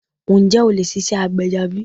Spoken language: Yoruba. Ǹjẹ́ o lè ṣiṣẹ́ àgbẹ̀ ẹja bi?